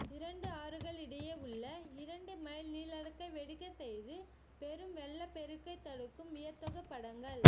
இரண்டு ஆறுகள் இடையே உள்ள இரண்டு மைல் நீள டைக்கை வெடிக்க செய்து பெரும் வெள்ளப்பெருக்கை தடுக்கும் வியத்தகு படங்கள்